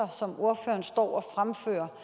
som ordføreren står og fremfører